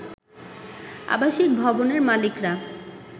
আবাসিক ভবনের মালিকরা